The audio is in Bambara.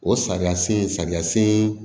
O sariya sen sariya sen